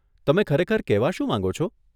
તમે ખરેખર કહેવા શું માંગો છો?